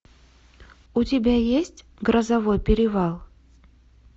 у тебя есть грозовой перевал